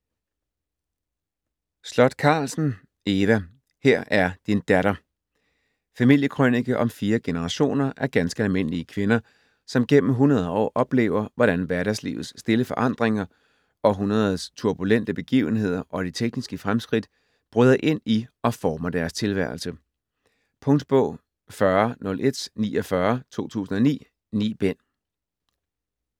Sloth Carlsen, Eva: Her er din datter Familiekrønike om fire generationer af ganske almindelige kvinder, som gennem 100 år oplever, hvordan hverdagslivets stille forandringer, århundredets turbulente begivenheder og de tekniske fremskridt bryder ind i og former deres tilværelse. Punktbog 400149 2009. 9 bind.